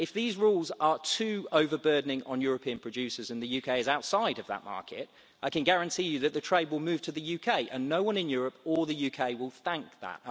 If these rules are too overburdening for European producers and the UK is outside that market, I can guarantee you that the trade will move to the UK, and no one in Europe or the UK will be thankful for that.